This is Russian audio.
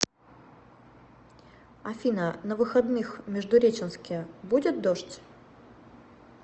афина на выходных в междуреченске будет дождь